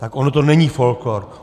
Tak ono to není folklór.